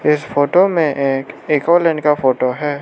इस फोटो में एक एक और लैंड का फोटो है।